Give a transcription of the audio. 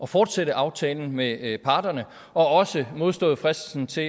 fortsætte aftalen med parterne og også har modstået fristelsen til